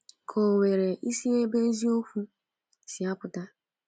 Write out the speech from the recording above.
Ka o nwere isi ebe eziokwu si apụta?